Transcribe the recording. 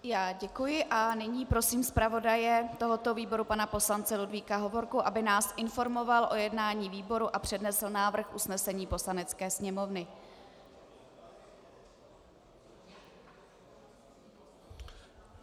Já děkuji a nyní prosím zpravodaje tohoto výboru pana poslance Ludvíka Hovorku, aby nás informoval o jednání výboru a přednesl návrh usnesení Poslanecké sněmovny.